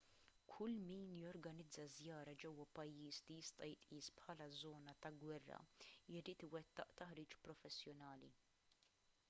kull min jorganizza żjara ġewwa pajjiż li jista' jitqies bħala żona ta' gwerra jrid iwettaq taħriġ professjonali